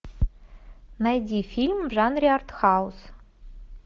найди фильм в жанре артхаус